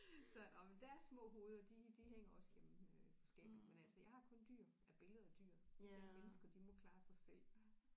Så nåh men deres små hoveder de de hænger også hjemme øh på skabet men altså jeg har kun dyr ja billeder af dyr de der mennesker de må klare sig selv